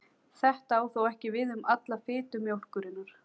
Þetta á þó ekki við um alla fitu mjólkurinnar.